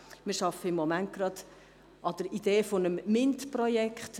Wir arbeiten zurzeit an der Idee eines MINT-Projekts.